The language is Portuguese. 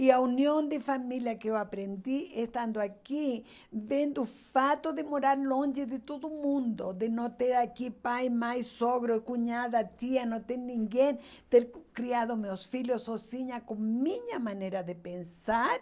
E a união de família que eu aprendi estando aqui, vendo o fato de morar longe de todo mundo, de não ter aqui pai, mãe, sogro, cunhada, tia, não ter ninguém, ter criado meus filhos sozinha com minha maneira de pensar,